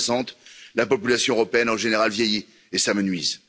2060. La population européenne en général vieillit et s'amenuise.